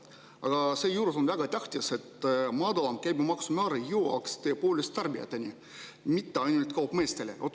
Aga seejuures on väga tähtis, et madalam käibemaksumäär jõuaks tõepoolest tarbijateni, mitte ainult kaupmeesteni.